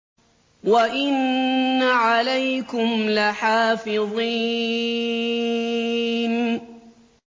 وَإِنَّ عَلَيْكُمْ لَحَافِظِينَ